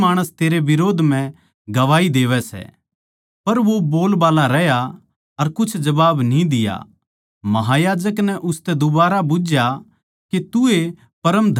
पर वो बोलबाल्ला रहया अर कुछ जबाब न्ही दिया महायाजक नै उसतै दुबारा बुझ्झया के तू ए परम धन्य परमेसवर का बेट्टा मसीह सै